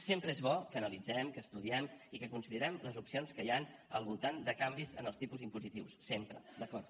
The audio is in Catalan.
sempre és bo que analitzem que estudiem i que considerem les opcions que hi han al voltant de canvis en els tipus impositius sempre d’acord